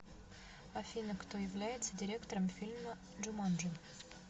афина кто является директором фильма джуманжи